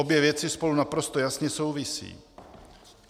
Obě věci spolu naprosto jasně souvisí.